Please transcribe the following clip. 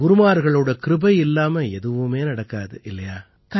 குருமார்களின் கிருபை இல்லாம எதுவுமே நடக்க முடியாது